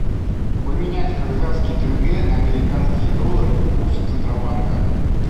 поменять казахские тенге на американские доллары курс центробанка